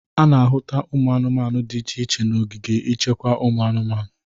A na-ahụta ụmụ anụmanụ dị iche iche n'ogige ichekwa ụmụ anụmanụ.